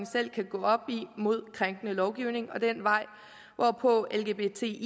selv kan gå ad mod krænkende lovgivning og det er den vej hvorpå lgbti